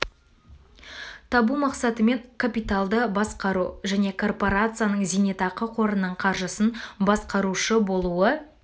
табу мақсатымен капиталды басқару және корпорацияның зейнетақы қорының қаржысын басқарушы болуы